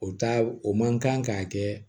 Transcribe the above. O taa o man kan k'a kɛ